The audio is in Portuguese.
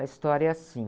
A história é assim.